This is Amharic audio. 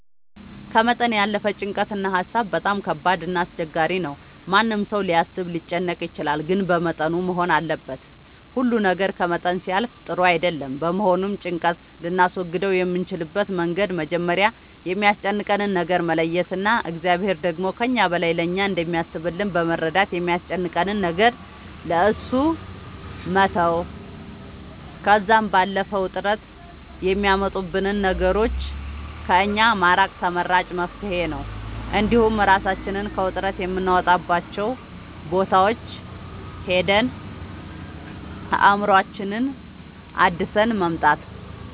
ከመጠን ያለፈ ጭንቀት እና ሀሳብ በጣም ከባድ እና አስቸጋሪ ነው ማንም ሰው ሊያስብ ሊጨነቅ ይችላል ግን በመጠኑ መሆን አለበት ሁሉ ነገር ከመጠን ሲያልፍ ጥሩ አይደለም በመሆኑም ጭንቀት ልናስወግድ የምንችልበት መንገድ መጀመሪያ የሚያስጨንቀንን ነገር መለየት እና እግዚአብሔር ደግሞ ከእኛ በላይ ለእኛ እንደሚያስብልን በመረዳት የሚያስጨንቀንን ነገር ለእሱ መተው ከዛም ባለፈ ውጥረት የሚያመጡብንን ነገሮች ከእኛ ማራቅ ተመራጭ መፍትሄ ነው እንዲሁም እራሳችንን ከውጥረት የምናወጣባቸው ቦታዎች ሄደን አእምሮአችንን አድሰን መምጣት